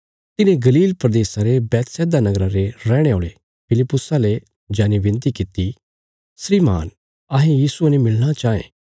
तिन्हें गलील प्रदेशा रे बैतसैदा नगरा रे रैहणे औल़े फिलिप्पुसा ले जाईने विनती कित्ती श्रीमान अहें यीशुये ने मिलणा चांये